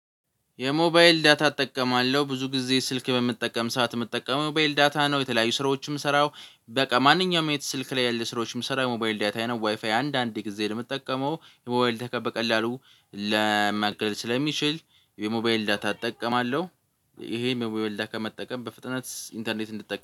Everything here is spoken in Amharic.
የሞባይል ዳታ እጠቀማለሁ ብዙ ጊዜ ስልክ በምጠቀም ሰዓት የምጠቀመው የሞባይል ዳታ ነው የተለያዩ ስራዎችም ስራው በቃ ማንኛውም አይነት ስልክ ላይ ያለ ስራዎችን ምሰራው በሞባይል ዳታዬ ነው ዋይፋይ አንዳንድ ጊዜ ደግሞ የምትጠቀመው የሞባይል ዳታ በቀላሉ ለ ሊያልቅ ስለሚችል የሞባይል ዳታ እጠቀማለሁ። ይሄ የሞባይል ዳታ ከመጠቀም በፍጥነት ኢንተርኔት እንድትጠቀም